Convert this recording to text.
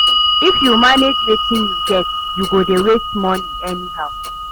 If yu no manage wetin yu get, yu go dey waste money anyhow.